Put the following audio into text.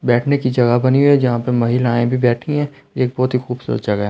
बैठने की जगह बनी हुई है जहां पर महिलाएं भी बैठी हैं ये बहुत ही खूबसूरत जगह है।